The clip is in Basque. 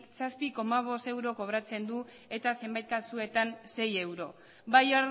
zazpi koma bost euro kobratzen du eta zenbait kasuetan sei euro bai